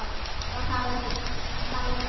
Og það veit hann.